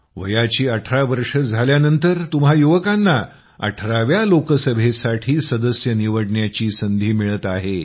वयाची 18 वर्ष झाल्यानंतर तुम्हा युवकांना 18 व्या लोकसभेसाठी सदस्य निवडण्याची संधी मिळत आहे